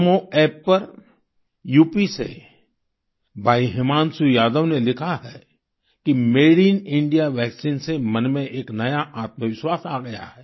नामो App पर UP से भाई हिमांशु यादव ने लिखा है कि मदेनइंडिया वैक्सीन से मन में एक नया आत्मविश्वास आ गया है